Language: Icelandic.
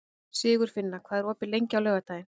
Sigurfinna, hvað er opið lengi á laugardaginn?